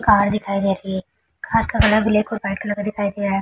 Car दिखाई दे रही है। कार का कलर ब्लैक और वाइट कलर का दिखाई दे रहा है।